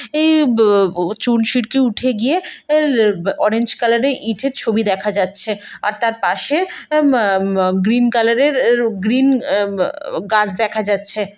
এই ব ব চুন সিটকে উঠে গিয়ে আব অরেঞ্জ কালারের ইটের ছবি দেখা যাচ্ছে আর তার পাশে আব আব আব গ্রীন কালারের আহ এ গ্রীন আহ ব গাছ দেখা যাচ্ছে।